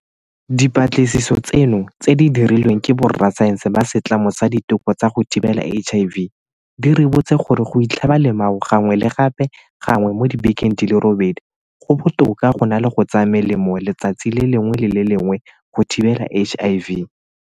Dipatlisiso tseno, tse di dirilweng ke borasaense ba Setlamo sa Diteko tsa go Thibela HIV, di ribotse gore go itlhaba lemao gangwe le gape gangwe mo dibekeng di le robedi go botoka go na le go tsaya melemo letsatsi le lengwe le le lengwe go thibela HIV.